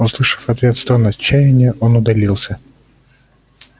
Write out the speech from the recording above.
услышав в ответ стон отчаяния он удалился